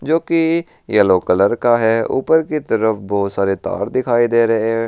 जो की yellow colour का है ऊपर की तरफ बहुत सारे तार दिखाई दे रहे हैं।